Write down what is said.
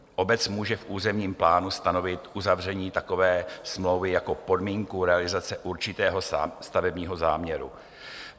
Obec může v územním plánu stanovit uzavření takové smlouvy jako podmínku realizace určitého stavebního záměru.